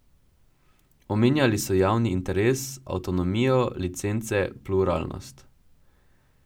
Omenjali so javni interes, avtonomijo, licence, pluralnost.